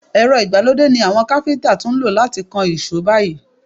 Èrọ ìgbàlódé ni àwọn káfíntà tún lò láti kan ìṣó báyìí.